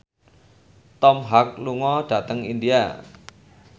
Tom Hanks lunga dhateng India